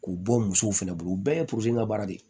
K'u bɔ musow fɛnɛ bolo u bɛɛ ye ka baara de ye